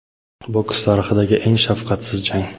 Boks tarixidagi eng shafqatsiz jang.